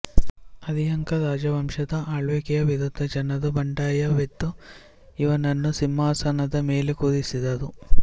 ಹರ್ಯಂಕ ರಾಜವಂಶದ ಆಳ್ವಿಕೆಯ ವಿರುದ್ಧ ಜನರು ಬಂಡಾಯವೆದ್ದು ಇವನನ್ನು ಸಿಂಹಾಸನದ ಮೇಲೆ ಕೂರಿಸಿದರು